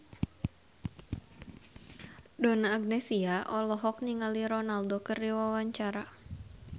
Donna Agnesia olohok ningali Ronaldo keur diwawancara